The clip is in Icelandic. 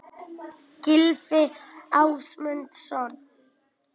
Gylfi Ásmundsson.